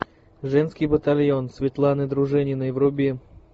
женский батальон светланы дружининой вруби